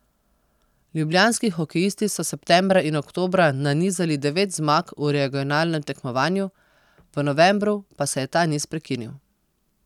Ljubljanski hokejisti so septembra in oktobra nanizali devet zmag v regionalnem tekmovanju, v novembru pa se je ta niz prekinil.